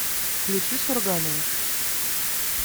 включи сурганова